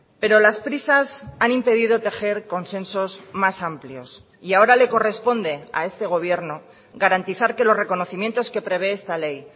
pero las prisas han impedido tejer consensos más amplios y ahora le corresponde a este gobierno garantizar que los reconocimientos que prevé esta ley